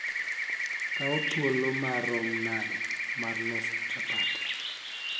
kaw thuolo ma rum nade mar loso chapat